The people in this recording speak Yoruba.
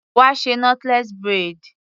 Wá ṣe knotless braid.